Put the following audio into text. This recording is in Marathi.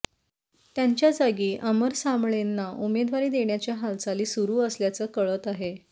त्यांच्या जागी अमर साबळेंना उमेदवारी देण्याच्या हालचाली सुरू असल्याचं कळतं आहे